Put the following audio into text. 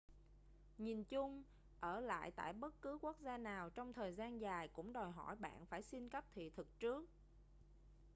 nhìn chung ở lại tại bất cứ quốc gia nào trong thời gian dài cũng đòi hỏi bạn phải xin cấp thị thực trước